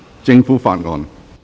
政府法案。